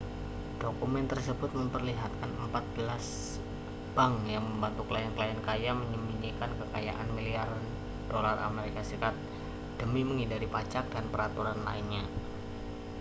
dokumen tersebut memperlihatkan empat belas bank yang membantu klien-klien kaya menyembunyikan kekayaan miliaran dolar as demi menghindari pajak dan peraturan lainnya